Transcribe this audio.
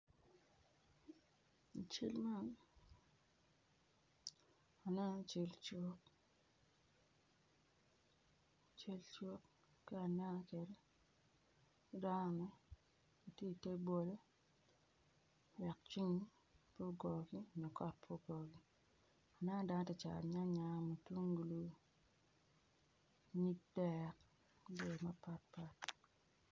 I cal man aneno cal cuk cal cuk kit ma aneno kwede dano gitye i te bolo wek ceng pe ogogi nyo kot ogogi aneno dano gitye ka cato nyanya mutungulu nyig dek ki jami mapatpat.